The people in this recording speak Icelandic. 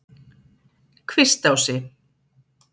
Kvistási